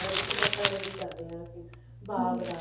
ਇੱਕ ਬੱਟਾ ready ਕਰਦੇ ਹਾਂ ਅਸੀਂ ਬਾਗ ਦਾ